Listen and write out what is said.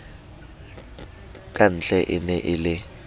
kantle e ne e le